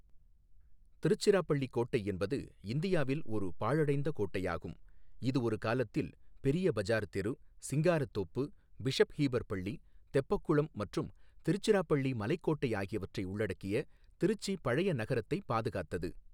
திருச்சிராப்பள்ளி கோட்டை என்பது இந்தியாவில் ஒரு பாழடைந்த கோட்டையாகும், இது ஒரு காலத்தில் பெரிய பஜார் தெரு, சிங்காரத்தோப்பு, பிஷப் ஹீபர் பள்ளி, தெப்பக்குளம் மற்றும் திருச்சிராப்பள்ளி மலைக்கோட்டை ஆகியவற்றை உள்ளடக்கிய திருச்சி பழைய நகரத்தை பாதுகாத்தது.